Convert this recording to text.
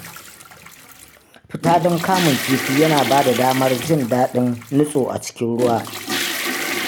Fita don kamun kifi yana ba da damar jin daɗin nitso a cikin ruwa.